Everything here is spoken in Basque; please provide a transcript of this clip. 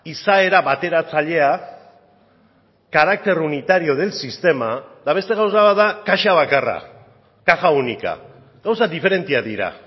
izaera bateratzailea carácter unitario del sistema eta beste gauza bat da kaxa bakarra caja única gauza diferenteak dira